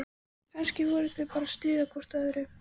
Kannski voru þau bara að stríða hvort öðru.